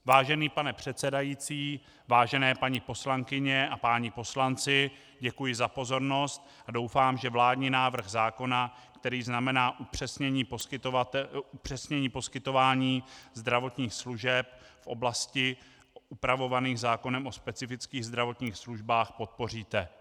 Vážený pane předsedající, vážené paní poslankyně a páni poslanci, děkuji za pozornost a doufám, že vládní návrh zákona, který znamená upřesnění poskytování zdravotních služeb v oblastech upravovaných zákonem o specifických zdravotních službách, podpoříte.